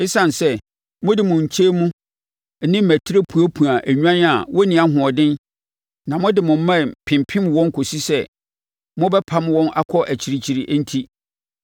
Esiane sɛ, mode mo nkyɛnmu ne mmatire puapua nnwan a wɔnni ahoɔden na mode mo mmɛn pempem wɔn kɔsi sɛ mobɛpam wɔn akɔ akyirikyiri enti,